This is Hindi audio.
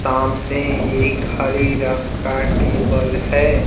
सामने एक हरे रंग का टेबल है।